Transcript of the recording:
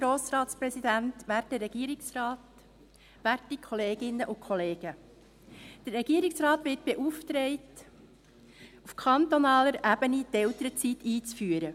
Der Regierungsrat wird beauftragt, auf kantonaler Ebene die Elternzeit einzuführen.